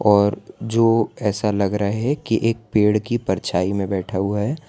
और जो ऐसा लग रहा है कि एक पेड़ की परछाई में बैठा हुआ है।